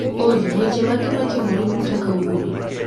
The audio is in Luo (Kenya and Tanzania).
Olly, weche mage matimore buta kawuono?